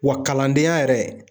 Wa kalandenya yɛrɛ